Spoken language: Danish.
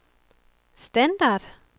standard